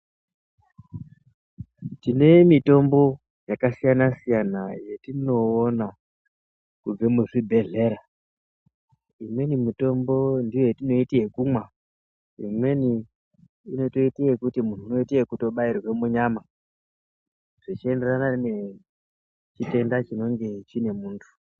Tine mutombo yakasiyana siyana yetinona kubva muzvibhehlera imweni mutombo ngeyatinoita ekumwa imweni inotoita ekuti munhu unoita ekubairwa munyama zvechinderana nechitenda chinenge chine munhu